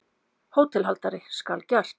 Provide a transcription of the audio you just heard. HÓTELHALDARI: Skal gert.